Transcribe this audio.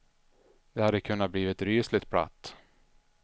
Det hade kunnat bli rysligt platt.